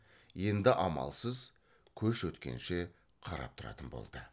енді амалсыз көш өткенше қарап тұратын болды